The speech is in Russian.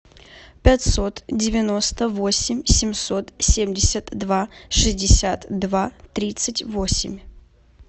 пятьсот девяносто восемь семьсот семьдесят два шестьдесят два тридцать восемь